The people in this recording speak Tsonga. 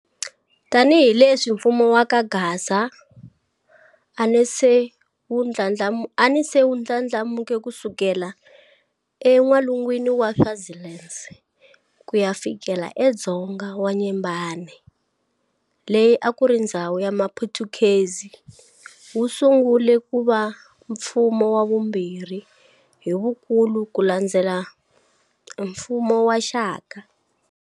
Tanihileswi mfumo wa kaGaza anase wu ndlandlamuke kusukela e n'walungwini wa Swaziland kuya fikela e dzonga wa Nyembane leyi akuri ndhzawu ya maphutukezi, wusungule kuva mfumo wavumbirhi hivukulu kulandzela mfumo wa Shaka.